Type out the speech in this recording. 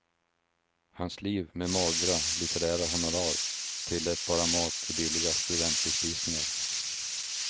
Hans liv med magra litterära honorar tillät bara mat i billiga studentbespisningar.